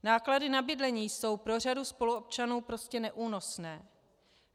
Náklady na bydlení jsou pro řadu spoluobčanů prostě neúnosné.